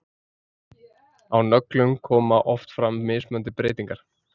Á nöglum koma oft fram mismunandi breytingar.